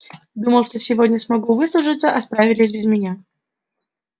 думал что сегодня смогу выслужиться а справились без меня